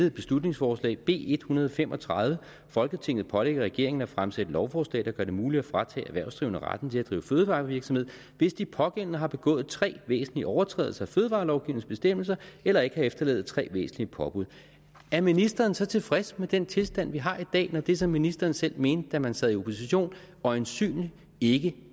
et beslutningsforslag b en hundrede og fem og tredive med folketinget pålægger regeringen at fremsætte lovforslag der gør det muligt at fratage erhvervsdrivende retten til at drive fødevarevirksomhed hvis de pågældende har begået tre væsentlige overtrædelser af fødevarelovgivningens bestemmelser eller ikke har efterlevet tre væsentlige påbud er ministeren så tilfreds med den tilstand vi har i dag når det som ministeren selv mente da man sad i opposition øjensynlig ikke